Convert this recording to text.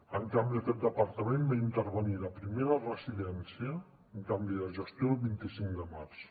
en canvi aquest departament va intervenir la primera residència un canvi de gestió el vint cinc de març